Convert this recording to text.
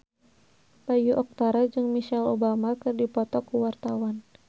Bayu Octara jeung Michelle Obama keur dipoto ku wartawan